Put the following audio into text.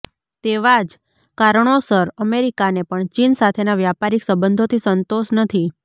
તેવા જ કારણોસર અમેરિકાને પણ ચીન સાથેના વ્યાપારિક સંબંધોથી સંતોષ નથી